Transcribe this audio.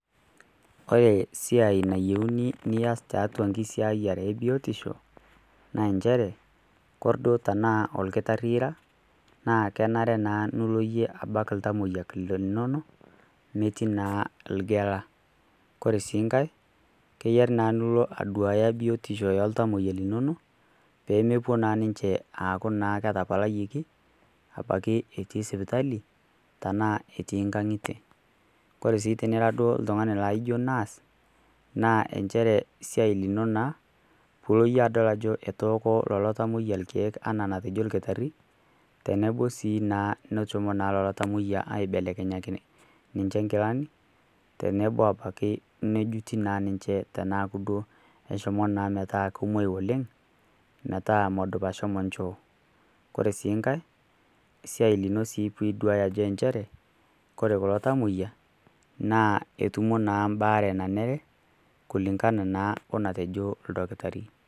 Kore esiai nayeuni nias tatua enkisiayare ebiotisho na enchere Kore duo tanaa lkitarii ira naa kenare naa nilo iye abaki ltamoyia lino metii naa lgela, Kore sii nkae keyari naa nulo aduaya biotisho eltamoyia linono pemepuo naa ninche aaku naa ketapalayieki abaki etii sipitali tana etii ng'ang'ite kore sii tinira duo ltungani laijo duo nass naa enchere siai lino naa pilo yie adol ajo etooko lolo tamoyia lkeek tana natejo lkitari tenebo nasi naa neshomo naa lolo tamoyia aibelekenyakini niche nkilani tenebo abaki nejuti naa ninche tenaku duo eshomo naa metaa komwai oleng metaa medup ashomo nchoo, Kore sii nkae siai lino piduaya enchere kore kulo tamoyia naa etumo naa mbaare nanere kulingana naa onatejo ldokitari.